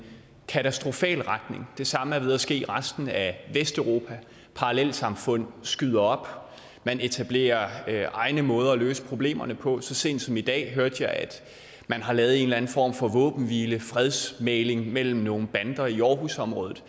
katastrofal retning det samme er ved at ske i resten af vesteuropa med parallelsamfund skyder op og at man etablerer egne måder at løse problemerne på så sent som i dag hørte jeg at man har lavet en eller anden form for våbenhvile fredsmægling mellem nogle bander i aarhusområdet